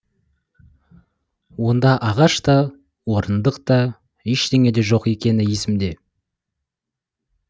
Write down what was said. онда ағаш та орындық та ештеңе де жоқ екені есімде